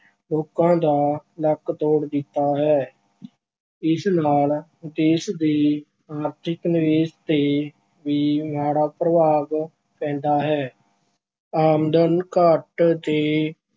ਲੋਕਾਂ ਦਾ ਲੱਕ ਤੋੜ ਦਿੱਤਾ ਹੈ। ਇਸ ਨਾਲ ਦੇਸ਼ ਦੇ ਆਰਥਿਕ ਨਿਵੇਸ਼ ਤੇ ਵੀ ਮਾੜਾ ਪ੍ਰਭਾਵ ਪੈਂਦਾ ਹੈ। ਆਮਦਨ ਘੱਟ ਤੇ